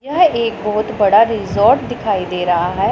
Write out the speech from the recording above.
यह एक बहोत बड़ा रिजॉर्ट दिखाई दे रहा है।